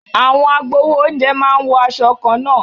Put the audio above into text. Àwọn agbawo oúnjẹ máa ń wọ aṣọ kanna.